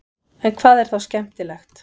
en hvað er þá skemmtilegt